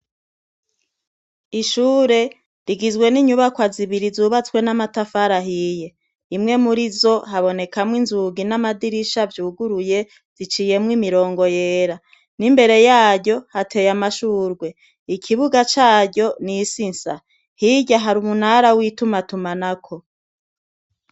Ishure rigizwe n'inyubakwa zibiri zubatswe n'amatafari ahiye. Imwe muri zo, habonekamwo inzugi n'amadirisha vyuguruye ziciyemwo imirongo yera. N'imbere yaryo hateye amashurwe. Ikibuga caryo ni isi nsa. Hijya hari umunara w'itumatumanako.